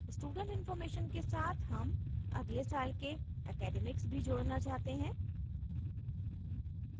student information student information के साथ हम अगले साल के academics academics भी जोड़ना चाहते हैं